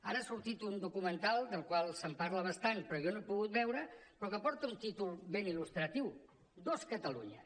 ara ha sortit un documental del qual se’n parla bastant però jo no he pogut veure però que porta un títol ben il·lustratiu dos cataluñas